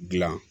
Dilan